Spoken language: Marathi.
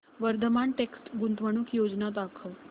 वर्धमान टेक्स्ट गुंतवणूक योजना दाखव